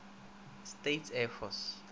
states air force